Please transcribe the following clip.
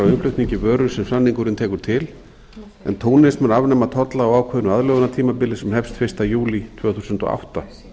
innflutningi vöru sem samningurinn tekur til en túnis mun afnema tolla á ákveðnu aðlögunartímabili sem hefst fyrsta júlí tvö þúsund og átta í